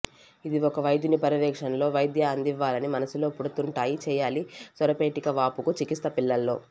ఇది ఒక వైద్యుని పర్యవేక్షణలో వైద్య అందివ్వాలి మనస్సులో పుడుతుంటాయి చేయాలి స్వరపేటికవాపుకు చికిత్స పిల్లల్లో